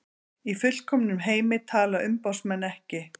Í fullkomnum heimi tala umboðsmenn ekki